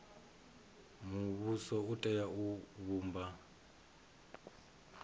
muvhuso u tea u vhumba